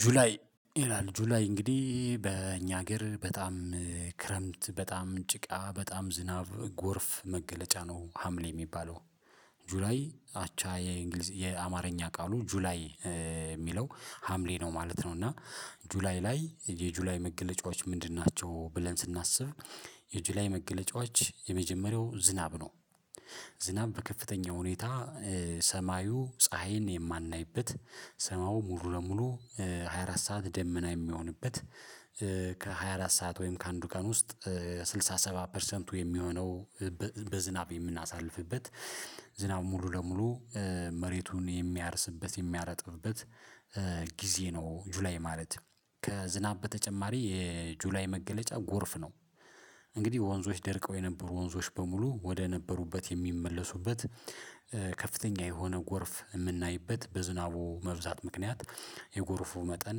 ጁላይ ይላል። ጁላይ እንግዲህ በእኛ ሀገር በጣም ክረምት በጣም ጭቃ በጣም ዝናብ ጎርፍ መገለጫ ነው ሀምሌ የሚባለው ጁላይ አቻ የእንግሊዝ የአማርኛ ቃሉ ጁላይ የሚለው ሀምሌ ነው ማለት ነው። እና ጁላይ ላይ የጁላይ መገለጫዎች ምንድን ናቸው ብለን ስናስብ? የጁላይ መገለጫዎች የመጀመሪያው ዝናብ ነው። ዝናብ በከፍተኛ ሁኔታ ሰማዩ ፀሀይን የማናይበት ሰማዩ ሙሉ ለሙሉ ሃያ አራት ሰዓት ደመና የሚሆንበት። ከሃያ አራት ሰዓት ወይም ከአንዱ ቀን ውስጥ ስልሳ ሰባ ፐርሰንቱ የሚሆነው በዝናብ የምናሳልፍበት። ዝናብ ሙሉ ለሙሉ መሬቱን የሚያርስበት የሚያረጥብበት ጊዜ ነው። ጁላይ ማለት ከዝናብ በተጨማሪ የጁላይ መገለጫ ጎርፍ ነው። እንግዲህ ወንዞች ደርቀው የነበሩ ወንዞች በሙሉ ወደ ነበሩበት የሚመለሱበት የሆነ ጎርፍ የምናይበት በዝናቡ መብዛት ምክንያት የጎርፉ መጠን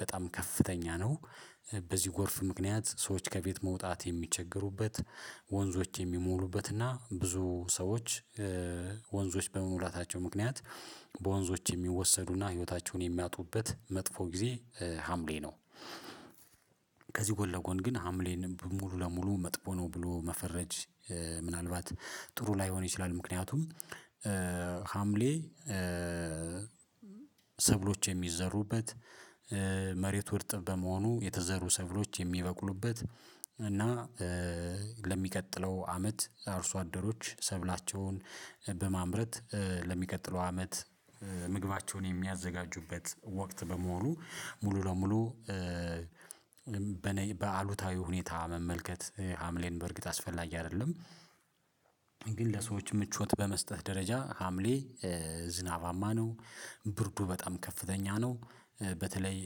በጣም ከፍተኛ ነው። በዚህ ጎርፍ ምክንያት ሰዎች ከቤት መውጣት የሚቸገሩበት። ወንዞች የሚሞሉበትና ብዙ ሰዎች ወንዞች በመሙላታቸው ምክንያት በወንዞች የሚወሰዱና ህይወታቸውን የሚያጡበት መጥፎ ጊዜ ሀምሌ ነው። ከዚህ ጎን ለጎን ግን ሀምሌን ሙሉ ለሙሉ መጥፎ ነው ብሎ መፈረጅ ምናልባት ጥሩ ላይሆን ይችላል። ምክንያቱም ሀምሌ ሰብሎች የሚዘሩበት መሬቱ ርጥብ በመሆኑ የተዘሩ ሰብሎች የሚበቅሉበት እና ለሚቀጥለው አመት አርሶ አደሮች ሰብላቸውን በማምረት ለሚቀጥለው አመት ምግባቸውን የሚያዘጋጁበት ወቅት በመሆኑ ሙሉ ለሙሉ በአሉታዊ ሁኔታ መመልከት ሀምሌን በእርግጥ አስፈላጊ አይደለም። ግን ለሰዎች ምቾት በመስጠት ደረጃ ሀምሌ ዝናባማ ነው። ብርዱ በጣም ከፍተኛ ነው። በተለይ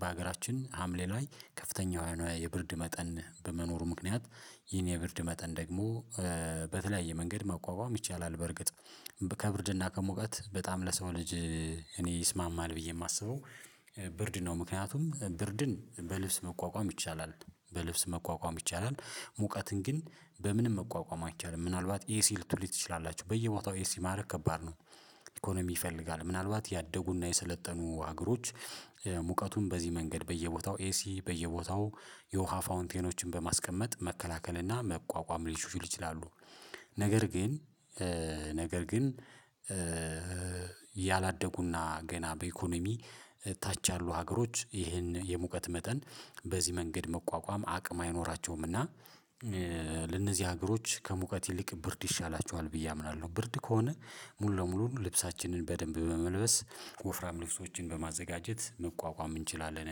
በሀገራችን ሀምሌ ላይ ከፍተኛ የብርድ መጠን በመኖሩ ምክንያት ይሄን የብርድ መጠን ደግሞ በተለያየ መንገድ መቋቋም ይቻላል። በርግጥ ከብርድና ከሙቀት በጣም ለሰው ልጅ እኔ ይስማማል ብዬ የማስበው ብርድ ነው ምክንያቱም ብርድን በልብስ መቋቋም ይቻላል። በልብስ መቋቋም ይቻላል ሙቀትን ግን በምንም መቋቋም አንችልም ምናልባት ኤሲ ትችላላችሁ በየቦታው ኤሲ ማድረግ ከባድ ነው። ኢኮኖሚ ይፈልጋል ምናልባት ያደጉና የሰለጠኑ ሀገሮች ሙቀቱን በዚህ መንገድ በየቦታው ኤሲ በየቦታው የውሃ ፋውንቴኖችን በማስቀመጥ መከላከል መቋቋም ሊችሉ ይችላሉ። ነገር ግን ግን ያላደጉና ገና በኢኮኖሚ ታች ያሉ ሀገሮች ይህን የሙቀት መጠን በዚህ መንገድ መቋቋም አቅም አይኖራቸውምና ለነዚህ ሀገሮች ከሙቀት ይልቅ ብርድ ይሻላቸዋል። ብዬ አምናለሁ። ብርድ ከሆነ ሙሉ ለሙሉ ልብሳችንን በደንብ በመልበስ ወፍራም ልብሶችን በማዘጋጀት መቋቋም እንችላለን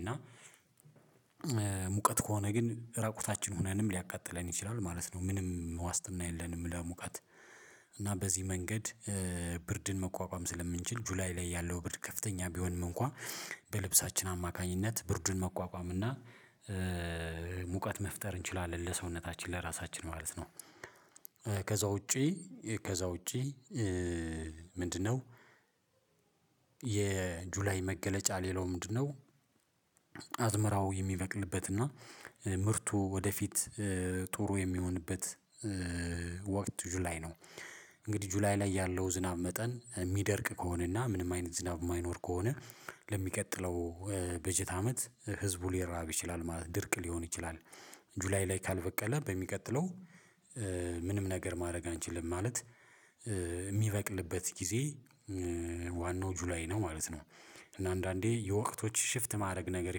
እና ሙቀት ከሆነ ግን ራቁታችን ሆነንም ሊያቃጥለን ይችላል ማለት ነው። ምንም ዋስትና የለንም። ለሙቀት እና በዚህ መንገድ ብርድን መቋቋም ስለምንችል ጁላይ ላይ ያለው ብርድ ከፍተኛ ቢሆንም እንኳን በልብሳችን አማካኝነት ብርዱን መቋቋም እና ሙቀት መፍጠር እንችላለን ለሰውነታችን ለራሳችን ማለት ነው። ከዛ ውጪ ከዛ ውጪ ምንድነው? የጁላይ መገለጫ ሌላው ምንድነው? አዝመራው የሚበቅልበት እና ምርቱ ወደፊት ጥሩ የሚሆንበት ወቅት ጁላይ ነው። እንግዲህ ጁላይ ላይ ያለው ዝናብ መጠን የሚደርቅ ከሆነና ምንም አይነት ዝናብ የማይኖር ከሆነ ለሚቀጥለው በጀት አመት ህዝቡ ሊራብ ይችላል ማለት ድርቅ ሊሆን ይችላል። ጁላይ ላይ ካልበቀለ በሚቀጥለው ምንም ነገር ማድረግ አንችልም። ማለት የሚበቅልበት ጊዜ ዋናው ጁላይ ነው ማለት ነው። እና አንዳንዴ የወቅቶች ሽፍት ማድረግ ነገር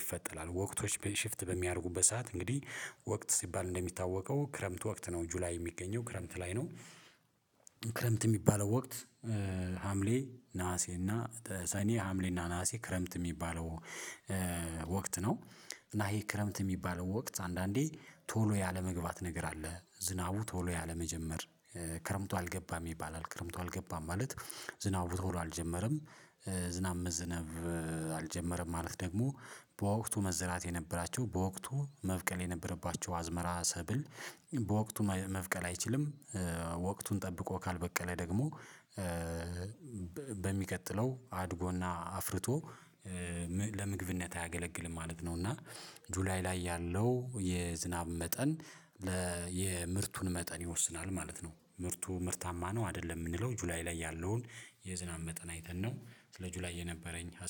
ይፈጠራል ወቅቶች ሽፍት በሚያደርጉበት ሰዓት እንግዲህ ወቅት ሲባል እንደሚታወቀው ክረምት ወቅት ነው ጁላይ የሚገኘው ክረምት ላይ ነው። ክረምት የሚባለው ወቅት ሀምሌ ነሀሴ እና ሰኔ ሀምሌ እና ነሀሴ ክረምት የሚባለው ወቅት ነው። እና ይሄ ክረምት የሚባለው ወቅት አንዳንዴ ቶሎ ያለመግባት ነገር አለ። ዝናቡ ቶሎ ያለመጀመር ክረምቱ አልገባም ይባላል ክረምቱ አልገባም ማለት ዝናብ ብትሆን አልጀመረም። ዝናብ መዝነብ አልጀመረም። ማለት ደግሞ በወቅቱ መዝራት የነበራቸው በወቅቱ መብቀል የነበረባቸው አዝመራ ሰብል በወቅቱ መብቀል አይችልም። ወቅቱን ጠብቆ ካልበቀለ ደግሞ በሚቀጥለው አድጎና አፍርቶ ለምግብነት አያገለግልም ማለት ነው። እና ጁላይ ላይ ያለው የዝናብ መጠን የምርቱን መጠን ይወስናል ማለት ነው። ምርቱ ምርታማ ነው አይደለም የምንለው ጁላይ ላይ ያለውን የዝናብ መጠን አይተን ነው። ስጁላይ የነበረኝ ሀሳብ